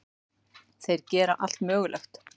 Þeir gera allt mögulegt.